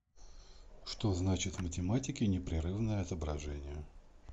что значит в математике непрерывное отображение